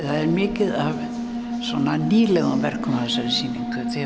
er mikið af nýlegum verkum á þessari sýningu af því að